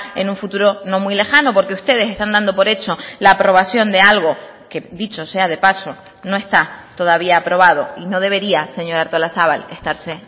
en un futuro no muy lejano porque ustedes están dando por hecho la aprobación de algo que dicho sea de paso no está todavía aprobado y no debería señora artolazabal estarse